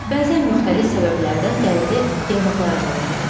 Bəzən müxtəlif səbəblərdən dəridə yanıqlar əmələ gəlir.